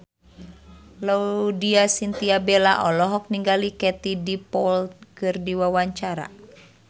Laudya Chintya Bella olohok ningali Katie Dippold keur diwawancara